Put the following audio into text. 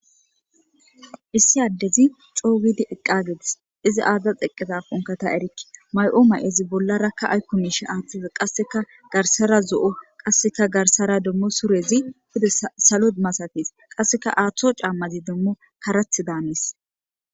issi addezi coo widi eqqageetis izi aadzda xeqqeza konkata erikki may7oo ma7ezi bollarakka aykkomiishe aaththeza qasseka garsara zo7o qasseka garsara demmo surezi hude salo masatis qasseka aaththo caammazi demmo karath daannis